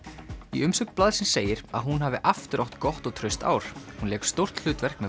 í umsögn blaðsins segir að hún hafi aftur átt gott og traust ár hún lék stórt hlutverk með